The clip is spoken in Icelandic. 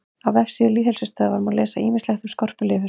Á vefsíðu Lýðheilsustöðvar má lesa ýmislegt um skorpulifur.